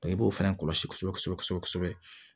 i b'o fana kɔlɔsi kosɛbɛ kosɛbɛ